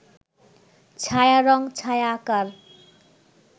ছায়া রং ছায়া আঁকার